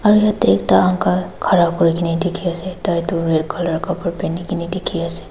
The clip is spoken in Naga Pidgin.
aru yatae ekta uncle khara kurikaena dikhiase tai tu red colour kapra pinikae na dikhiase.